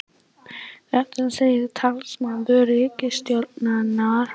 Þetta segir talsmaður ríkisstjórnarinnar